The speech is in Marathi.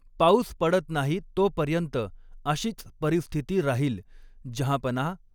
पाऊस पडत नाही तोपर्यंत अशीच परिस्थिती राहील, जंहापनाह !